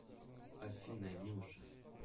афина нюша